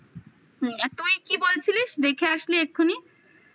তুই কি বলছিলিস দেখে আসলি এক্ষুনি?